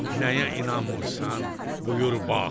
Nəyə inanmırsan, buyur bax.